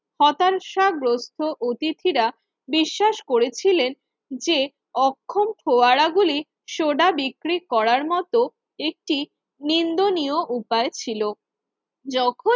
হতাশা গ্রস্থ অতিথিরা বিশ্বাস করেছিলেন যে অক্ষম ফোয়ারা গুলির সোডা বিক্রি করার মত একটি নিন্দনীয় উপায় ছিল। যখন